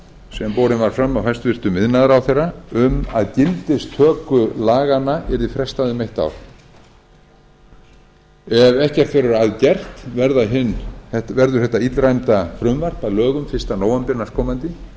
sem borin var fram af hæstvirtur iðnaðarráðherra um að gildistöku laganna yrði frestað um eitt ár ef ekkert verður að gert verður þetta illræmda frumvarp að lögum fyrsta nóvember næstkomandi